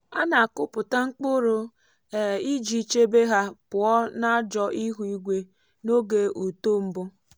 a na-akụpụta mkpụrụ um iji chebe ha pụọ n’ajọ ihu igwe n’oge uto mbụ.